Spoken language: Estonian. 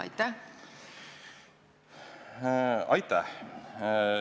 Aitäh!